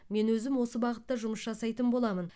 мен өзім осы бағытта жұмыс жасайтын боламын